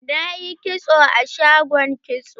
Na yi kitso a shagon kitso.